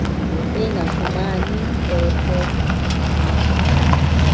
bengafumani mpepho nakukhanya